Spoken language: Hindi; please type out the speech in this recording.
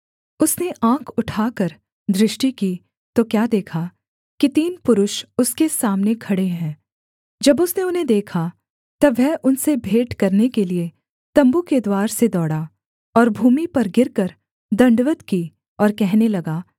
उसने आँख उठाकर दृष्टि की तो क्या देखा कि तीन पुरुष उसके सामने खड़े हैं जब उसने उन्हें देखा तब वह उनसे भेंट करने के लिये तम्बू के द्वार से दौड़ा और भूमि पर गिरकर दण्डवत् की और कहने लगा